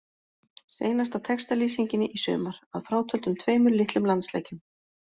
Seinasta textalýsingin í sumar, að frátöldum tveimur litlum landsleikjum.